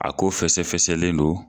A ko fɛsɛfɛsɛlen don